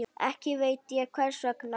Ekki veit ég hvers vegna.